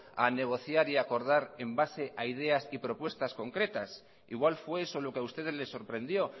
a negociar y a acordar en base a ideas y propuestas concretas igual fue eso lo que ha ustedes les sorprendió